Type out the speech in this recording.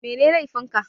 Mene laifin ka?